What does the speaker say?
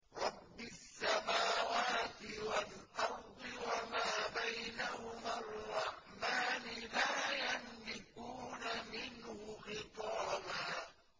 رَّبِّ السَّمَاوَاتِ وَالْأَرْضِ وَمَا بَيْنَهُمَا الرَّحْمَٰنِ ۖ لَا يَمْلِكُونَ مِنْهُ خِطَابًا